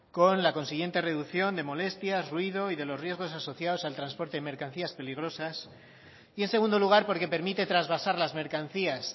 con la consiguiente reducción de molestias ruido y de los riesgos asociados al transporte de mercancías peligrosas y en segundo lugar porque permite trasvasar las mercancías